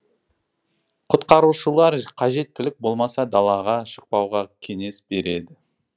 құтқарушылар қажеттілік болмаса далаға шықпауға кеңес береді